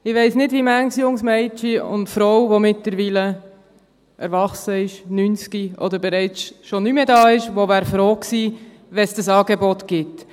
Ich weiss nicht, wie manches junge Mädchen und wie manche Frau – mittlerweile erwachsen, 90 oder schon nicht mehr da ist – froh gewesen wäre, wenn es dieses Angebot gegeben hätte.